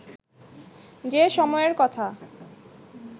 যে সময়ের কথা